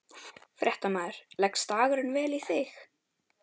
Fréttamaður: Leggst dagurinn vel í þig?